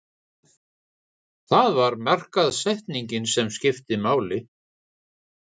Það var markaðssetningin sem skipti máli.